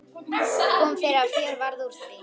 Kom fyrir að fjör varð úr því.